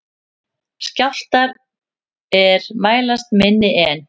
Skjálftar er mælast minni en